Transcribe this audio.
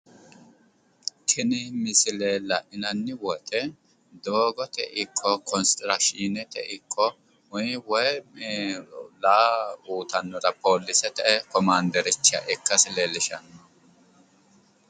tini misile la'nanni woyiite doogote ikko konistirakiishinete ikko woy raa uyiitannota poolisete komaandericha ikka leellishshanno